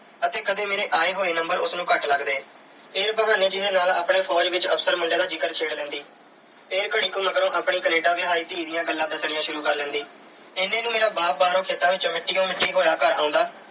ਅਤੇ ਕਦੇ ਮੇਰੇ ਆਏ ਹੋਏ number ਉਸ ਨੂੰ ਘੱਟ ਲੱਗਦੇ। ਫਿਰ ਬਹਾਨੇ ਜੇ ਨਾਲ ਆਪਣੇ ਫ਼ੌਜ ਵਿੱਚ officer ਮੁੰਡੇ ਦਾ ਜ਼ਿਕਰ ਛੇੜ ਲੈਂਦੀ। ਫਿਰ ਘੜੀ ਕੁ ਮਗਰੋਂ ਆਪਣੀ Canada ਵਿਆਹੀ ਧੀ ਦੀਆਂ ਗੱਲਾਂ ਦੱਸਣੀਆਂ ਸ਼ੁਰੂ ਕਰ ਲੈਂਦੀ। ਇੰਨੇ ਨੂੰ ਮੇਰਾ ਬਾਹਰੋਂ ਬਾਪ ਖੇਤਾਂ ਵਿੱਚੋਂ ਮਿੱਟੀ ਨਾਲ ਮਿੱਟੀ ਹੋਇਆ ਘਰ ਆਉਂਦਾ